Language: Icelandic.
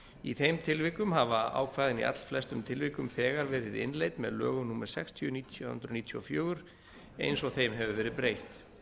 í þeim tilvikum hafa ákvæðin í allflestum tilvikum þegar verið innleidd með lögum númer sextíu nítján hundruð níutíu og fjögur eins og þeim hefur verið breytt